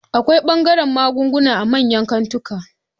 Akwai ɓangaren magunguna a manyan kantika